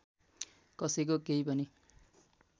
कसैको केही पनि